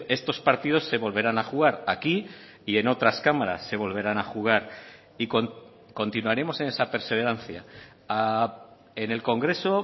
estos partidos se volverán a jugar aquí y en otras cámaras se volverán a jugar y continuaremos en esa perseverancia en el congreso